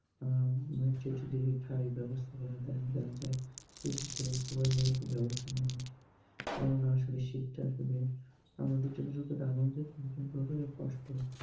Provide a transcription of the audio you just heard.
ব্যবস্থা করে দেওয়া যায় সেই ক্ষেত্রে সবাই মিলে একটু ব্যবস্থা নেওয়া উচিত। কেননা শীতটা আসলে আমাদের জন্য যতটা আনন্দের তাদের জন্য ততটাই কষ্টের।